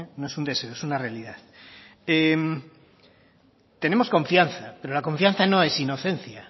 no es un deseo es una realidad tenemos confianza pero la confianza no es inocencia